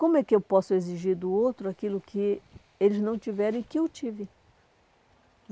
Como é que eu posso exigir do outro aquilo que eles não tiveram e que eu tive?